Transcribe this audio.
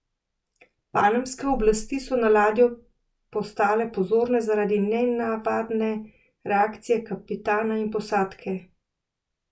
Panamske oblasti so na ladjo postale pozorne zaradi nenavadne reakcije kapitana in posadke.